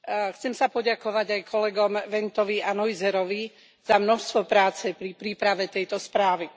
Chcem sa poďakovať aj kolegom Wentovi a Neuserovi za množstvo práce pri príprave tejto správy.